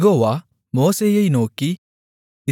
யெகோவா மோசேயை நோக்கி